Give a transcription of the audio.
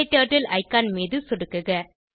க்டர்ட்டில் ஐகான் மீது சொடுக்குக